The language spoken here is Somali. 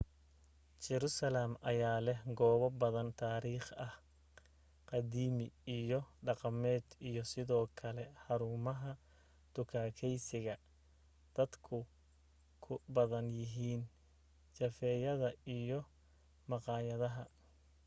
jerusalem ayaa leh goobo badan taarikhi ah qadiimi iyo dhaqameed iyo sidoo kale xaruumaha dukaakaysiga dadka ku badan yihiin jafeeyada iyo maqaayadaha